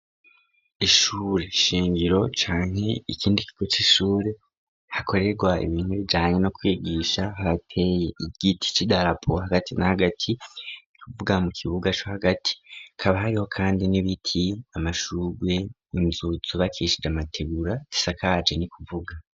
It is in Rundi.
Ishure shingiro canke ikindi kigo c'ishure, hakorerwa ibintu bijanye no kwigisha hateye igiti c'idarapo hagati na hagati, ni kuvuga mu kibuga co hagati, kaba hariho kandi n'ibiti, amashurwe, inzu zubakishije amategura isakaje ni kuvuga.